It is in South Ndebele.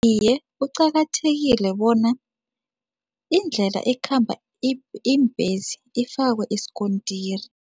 Iye, kuqakathekile bona indlela ekhamba iimbhesi ifakwe isikontiri.